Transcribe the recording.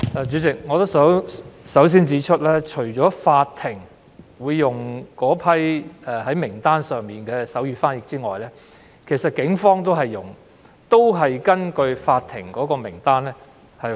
主席，我首先指出，除法庭會使用該份名單上的手語傳譯員外，警方也會根據名單聘用手語傳譯員。